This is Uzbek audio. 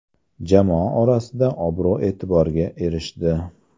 Jamoa orasida obro‘-e’tiborga erishdi.